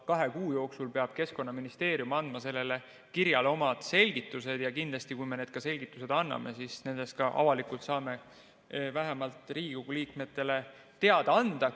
Kahe kuu jooksul peab Keskkonnaministeerium andma selle kirja kohta omad selgitused ja kui me need selgitused anname, siis kindlasti saame nendest avalikult vähemalt Riigikogu liikmetele teada anda.